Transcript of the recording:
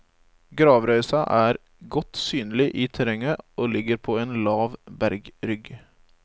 Gravrøysa er godt synlig i terrenget og ligger på en lav bergrygg.